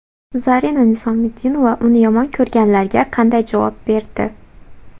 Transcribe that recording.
Zarina Nizomiddinova uni yomon ko‘rganlarga qanday javob berdi?